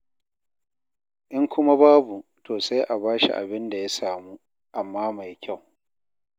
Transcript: In kuma babu to sai a ba shi abin da ya samu, amma mai kyau.